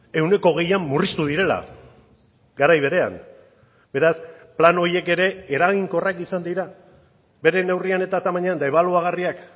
ehuneko hogeian murriztu direla garai berean beraz plan horiek ere eraginkorrak izan dira bere neurrian eta tamainan debaluagarriak